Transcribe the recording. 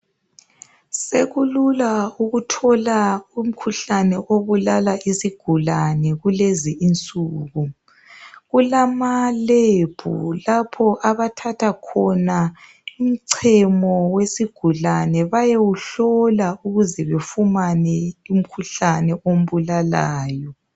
Sekulula ukuthola umkhuhlane obulala izigulane kulezi insuku. Kulama -Lab lapho abathatha khona umchemo wesigulane bayewuhlola ukuze befumane umkhuhlane ombulalayo.